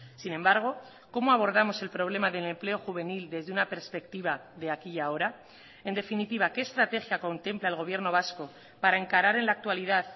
sin embargo cómo abordamos el problema del empleo juvenil desde una perspectiva de aquí y ahora en definitiva qué estrategia contempla el gobierno vasco para encarar en la actualidad